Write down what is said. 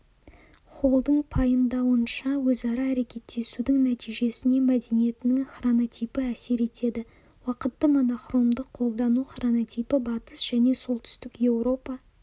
холлдың пайымдауынша өзара әрекеттесудің нәтижесіне мәдениеттің хронотипі әсер етеді уақытты монохромды қолдану хронотипі батыс және солтүстік еуропа